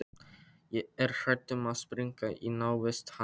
Er hrædd um að springa í návist hans.